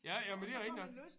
Ja jamen det er rigtig nok